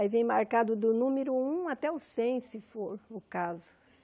Aí vem marcado do número um até o cem, se for o caso.